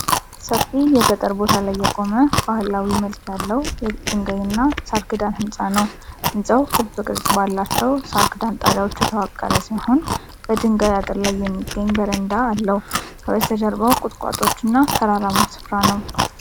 ሰፊ የገጠር ቦታ ላይ የቆመ ባህላዊ መልክ ያለው የድንጋይ እና ሳር ክዳን ሕንፃ ነው። ሕንፃው ክብ ቅርጽ ባላቸው ሳር ክዳን ጣሪያዎች የተዋቀረ ሲሆን፣ በድንጋይ አጥር ላይ የሚገኝ በረንዳ አለው። ከበስተጀርባው ቁጥቋጦዎች እና የተራራማ ስፍራ ነው።